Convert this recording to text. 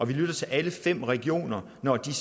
vi lytter til alle fem regioner når de